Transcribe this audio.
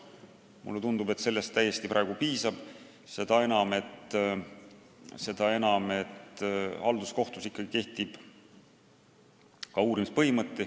Mulle tundub, et sellest praegu täiesti piisab, seda enam, et halduskohtus ikkagi kehtib ka uurimispõhimõte.